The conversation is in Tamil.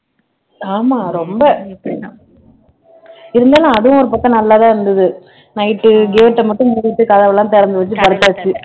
ஆமா ரொம்ப இருந்தாலும் அதுவும் ஒரு பக்கம் நல்லாதான் இருந்தது night gate அ மட்டும் பூட்டிட்டு கதவெல்லாம் திறந்து வச்சு படுத்தாச்சு